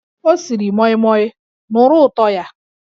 Ọ siri moimoi, nụrụ ụtọ ya!